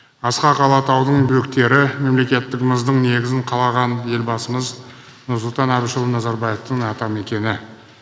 асқақ алатаудың бөктері мемлекеттігіміздің негізін қалаған елбасымыз нұрсұлтан әбішұлы назарбаевтың атамекені